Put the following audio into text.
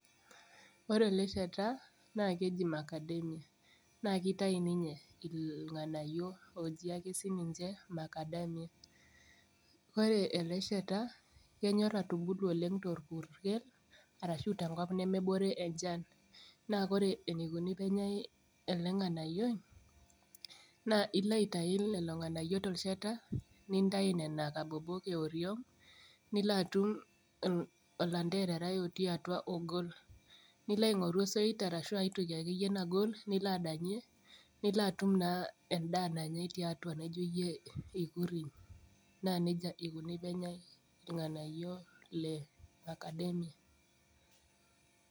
Ore ele shata naa keji macadamia naa kitai ninye ilng'anayio oji ake sininche macadamia ore ele shata kenyorr atubulu oleng torpurkel arashu tenkop nemebore enchan naa kore eneikoni penyae ele ng'anayioi naa ilo aitai lelo ng'anayio tolchata nintai nena kabobok ioriong nilo atum olanterarai otii atua ogol nilo aing'oru osoit arashu aetoki akeyie nagol nilo adanyie nilo atum naa endaa nanyae tiatua naijo iyie eikuriny naa nejia eikuni penyae irng'anayio le macadamia.